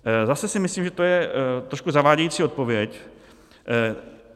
Zase si myslím, že to je trošku zavádějící odpověď.